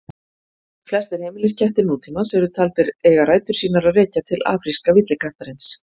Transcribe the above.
Flestir heimiliskettir nútímans eru taldir eiga rætur sínar að rekja til afríska villikattarins.